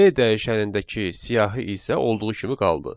B dəyişənindəki siyahı isə olduğu kimi qaldı.